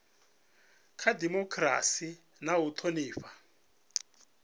kha dimokirasi na u thonifha